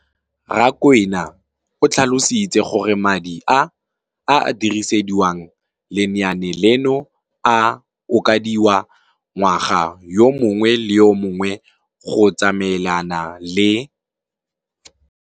Rakwena o tlhalositse gore madi a a dirisediwang lenaane leno a okediwa ngwaga yo mongwe le yo mongwe go tsamaelana le.